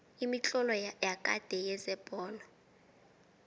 imitlolo yakade yezebholo